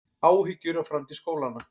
Áhyggjur af framtíð skólanna